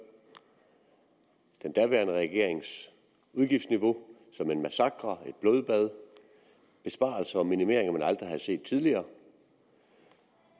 den daværende regerings udgiftsniveau som en massakre et blodbad besparelser og minimeringer man aldrig havde set tidligere